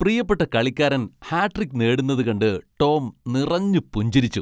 പ്രിയപ്പെട്ട കളിക്കാരൻ ഹാട്രിക് നേടുന്നത് കണ്ട് ടോം നിറഞ്ഞു പുഞ്ചിരിച്ചു .